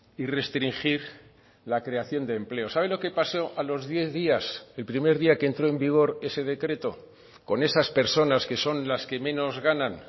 y restringir la creación de empleo sabe lo que pasó a los diez días el primer día que entró en vigor ese decreto con esas personas que son las que menos ganan